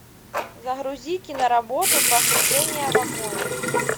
загрузи киноработу погружение в огонь